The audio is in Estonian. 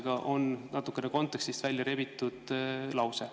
See on natuke kontekstist välja rebitud lause.